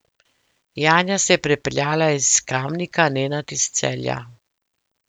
Janja se je pripeljala iz Kamnika, Nenad iz Celja.